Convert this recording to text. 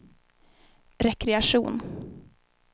rekreation